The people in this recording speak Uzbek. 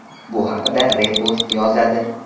Bu haqda Repost yozadi .